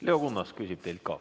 Leo Kunnas küsib teilt ka.